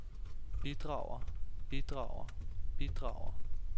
bidrager bidrager bidrager